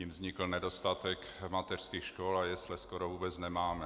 Tím vznikl nedostatek mateřských škol a jesle skoro vůbec nemáme.